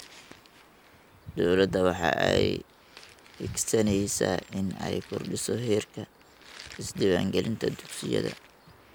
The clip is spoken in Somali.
Dowladda waxa ay hiigsaneysaa in ay kordhiso heerka isdiiwaan gelinta dugsiyada.